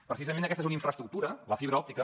precisament aquesta és una infraestructura la fibra òptica